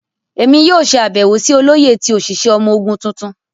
Emi yoo ṣe abẹwo si Oloye ti oṣiṣẹ ọmọ ogun tuntun.